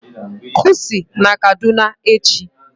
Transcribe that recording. Kusi na Kaduna echi!